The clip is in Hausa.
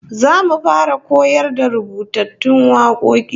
Zamu fara koyar da rubutattun wakoki